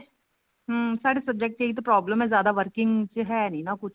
ਹਮ ਸਾਡੇ subject ਚ ਤਾਂ ਇਹੀ problem ਜਿਆਦਾ working ਚ ਹੈ ਨੀ ਨਾ ਕੁੱਛ